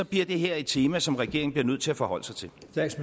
bliver det her et tema som regeringen bliver nødt til at forholde sig til